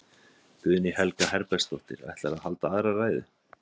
Guðný Helga Herbertsdóttir: Ætlarðu að halda aðra ræðu?